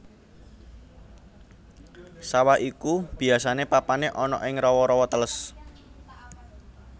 Sawah iku biasané papané ana ing rawa rawa teles